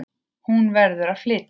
Hún verður að flytja.